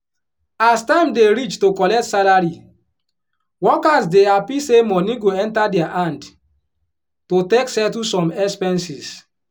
as time dey reach to collect salary workers dey happy say money go enter dia hand to take settle some expenses.